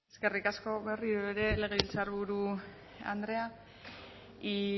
eskerrik asko berriro ere legebiltzarburu andrea y